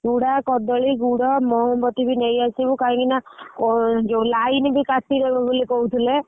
ଚୂଡା କଦଳୀ ଗୁଡ ମହମବତୀ ବି ନେଇ ଆସିବୁ କଇଁକି ନାଁ ଯୋଉ line ବି କଟିଦେବେ ବୋଲେ କହୁଥିଲେ।